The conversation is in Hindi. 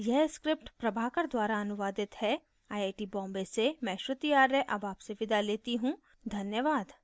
यह स्क्रिप्ट प्रभाकर द्वारा अनुवादित है आई आई टी bombay से मैं श्रुति आर्य अब आपसे विदा लेती हूँ धन्यवाद